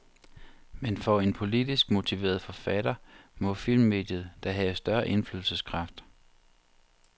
Men for en politisk motiveret forfatter, må filmmediet da have større indflydelseskraft.